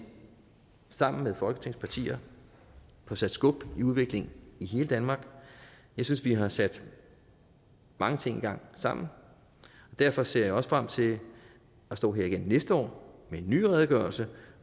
sammen med folketingets partier får sat skub i udviklingen i hele danmark jeg synes vi har sat mange ting i gang sammen og derfor ser jeg også frem til at stå her igen næste år med en ny redegørelse